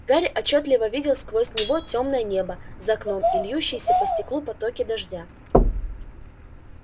гарри отчётливо видел сквозь него тёмное небо за окном и льющиеся по стеклу потоки дождя